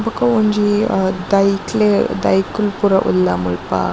ಬೊಕ ಒಂಜಿ ಅಹ್ ದೈಕ್ಲೆ ದೈಕುಲ್ ಪುರ ಉಲ್ಲ ಮುಲ್ಪ .